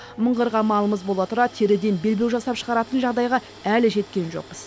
мыңғырған малымыз бола тұра теріден белбеу жасап шығаратын жағдайға әлі жеткен жоқпыз